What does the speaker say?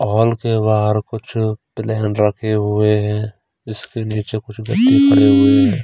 Hall के बाहर कुछ प्लेन रखे हुए हैं इसके नीचे कुछ व्यक्ति खड़े हुए हैं।